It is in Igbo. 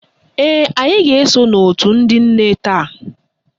Ee, anyị ga-eso n'òtù ndị nne taa